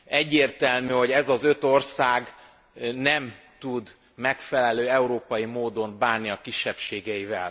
Egyértelmű, hogy ez az öt ország nem tud megfelelő, európai módon bánni a kisebbségeivel.